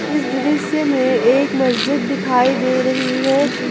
इस दृश्य में एक मस्जिद दिखाई दे रही है।